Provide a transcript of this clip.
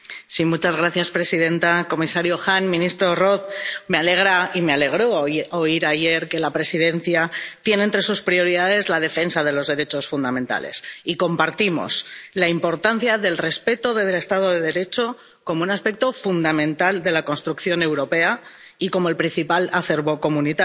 Señora presidenta, comisario Han, ministro Roth, me alegra y me alegró oír ayer que la Presidencia tiene entre sus prioridades la defensa de los derechos fundamentales, y compartimos la importancia del respeto desde del Estado de Derecho como un aspecto fundamental de la construcción europea, y como el principal acervo comunitario.